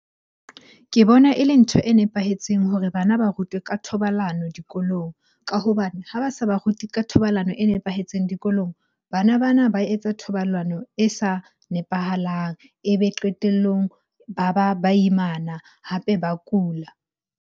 Ke bona e le ntho e nepahetseng hore bana ba rutwe ka thobalano dikolong. Ka hobane ha ba sa ba rute ka thobalano e nepahetseng dikolong, bana bana ba etsa thobalano e sa nepahalang. Ebe qetellong ba ba baimana hape ba kula.